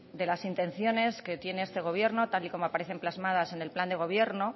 de las intenciones que tiene este gobierno tal y como aparecen plasmadas en el plan de gobierno